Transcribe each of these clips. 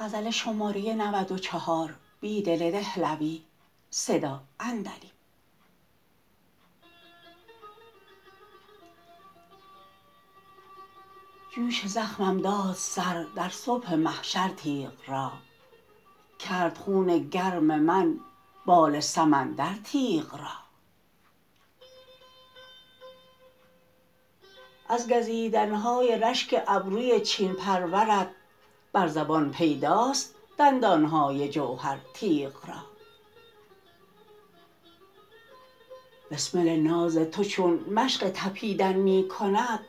جوش زخمم داد سر در صبح محشر تیغ را کرد خون گرم من بال سمندر تیغ را از گزیدنهای رشک ابروی چین پرورت بر زبان پیداست دندانهای جوهر تیغ را بسمل ناز تو چون مشق تپیدن می کند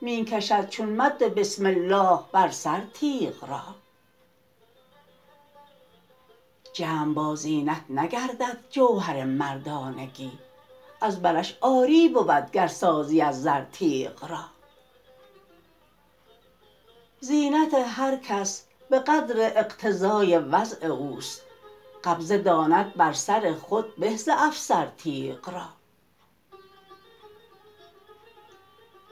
می کشد چون مد بسم الله بر سر تیغ را جمع با زینت نگردد جوهر مردانگی از برش عاری بود گر سازی از زر تیغ را زینت هرکس به قدر اقتضای وضع اوست قبضه داند بر سر خود به ز افسر تیغ را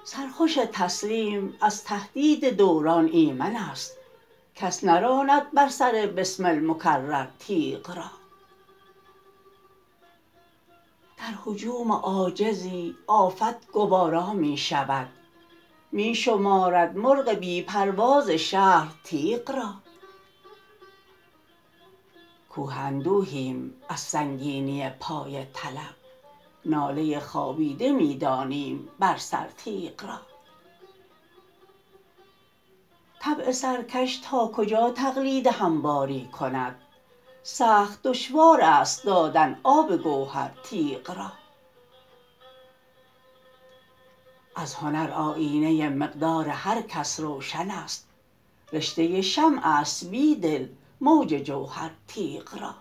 سرخوش تسلیم از تهدید دوران ایمن است کس نراند بر سر بسمل مکرر تیغ را در هجوم عاجزی آفت گوارا می شود می شمارد مرغ بی پرواز شهپر تیغ را کوه اندوهیم از سنگینی پای طلب ناله خوابیده می دانیم بر سر تیغ را طبع سرکش تا کجا تقلید همواری کند سخت دشوار است دادن آب گوهر تیغ را از هنر آیینه مقدار هرکس روشن است رشته شمع است بیدل موج جوهر تیغ را